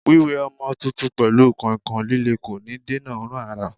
Wiwe ọmọ tuntun pelu kọ̀ìnkọ̀ìn líle kò ní dènà òórùn ara.